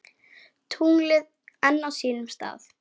Tunglið enn á sínum stað.